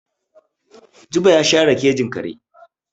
Jibo ya share kejin kare.